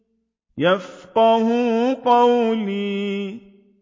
يَفْقَهُوا قَوْلِي